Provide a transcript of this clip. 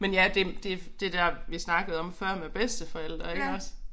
Men ja det det det der vi snakkede om før med bedsteforældre iggås